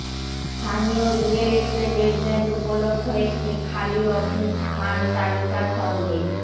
স্থানীয় real estate agent উপলব্ধ একটি খালি অফিস স্থান তালিকা সঙ্গে